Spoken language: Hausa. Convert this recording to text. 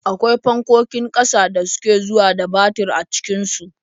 Akwai fankokin ƙasa da suke zuwa da batir a cikin su.